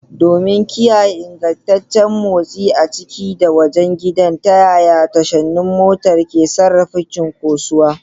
Domin kiyaye ingantaccen motsi a ciki da wajen gidan, ta yaya tashoshin motar ke sarrafa cunkosuwa?